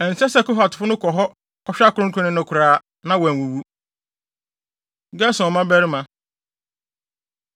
Ɛnsɛ sɛ Kohatfo no kɔ hɔ kɔhwɛ akronkronne no koraa, na wɔanwuwu.” Gerson Mmabarima